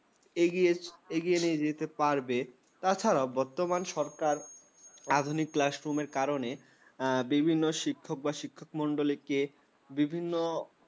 এগিয়ে নিয়ে যেতে পারবে। তাছাড়াও বর্তমান সরকার আধুনিক classroom র কারণে উম বিভিন্ন শিক্ষক বা শিক্ষকমণ্ডলীকে বিভিন্ন